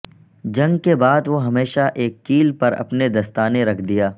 جنگ کے بعد وہ ہمیشہ ایک کیل پر اپنے دستانے رکھ دیا